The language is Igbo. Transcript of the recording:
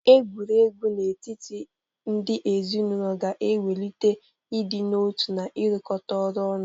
Egwuregwu n'etiti ndị ezinaụlọ ga na-ewulite idị n'otu na ịrụkọta ọrụ ọnụ.